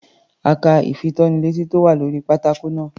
A ka ìfitónilétí tí ó wà lórí pátákó náà.